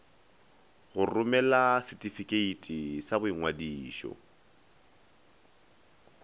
go romela setifikeiti sa boingwadišo